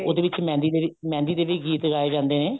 ਉਹਦੇ ਵਿੱਚ ਮਹਿੰਦੀ ਮਹਿੰਦੀ ਦੇ ਵੀ ਗੀਤ ਗਾਏ ਜਾਂਦੇ ਨੇ